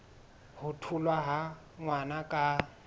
ho tholwa ha ngwana ka